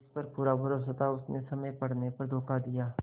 जिस पर पूरा भरोसा था उसने समय पड़ने पर धोखा दिया